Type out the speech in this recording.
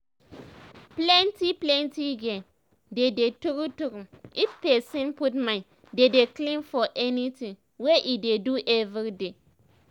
plenti plenti gain dey dey tru tru if pesin put mind dey dey clean for anything wey e dey do everyday